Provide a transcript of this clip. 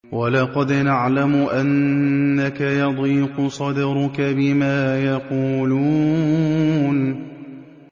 وَلَقَدْ نَعْلَمُ أَنَّكَ يَضِيقُ صَدْرُكَ بِمَا يَقُولُونَ